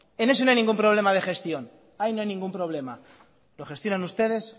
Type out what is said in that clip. en eso no hay ningún problema de gestión ahí no hay ningún problema lo gestionan ustedes